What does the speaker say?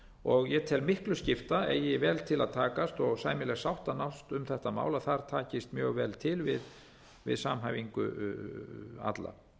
og ég tel miklu skipta eigi vel til að takast og sæmileg sátt að nást um þetta mál að þar takist mjög vel til við samhæfingu alla